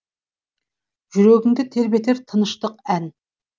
жүрегіңді тербетер тыныштық ән